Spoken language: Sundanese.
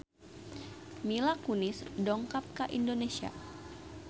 Mila Kunis dongkap ka Indonesia